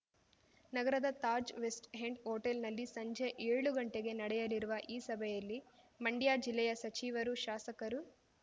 ನಗರದ Taj west end ಹೋಟೆಲ್‌ನಲ್ಲಿ ಸಂಜೆ ಏಳು ಗಂಟೆಗೆ ನಡೆಯಲಿರುವ ಈ ಸಭೆಯಲ್ಲಿ ಮಂಡ್ಯ ಜಿಲ್ಲೆಯ ಸಚಿವರು ಶಾಸಕರು